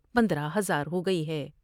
پندرہ ہزار ہوگئی ہے ۔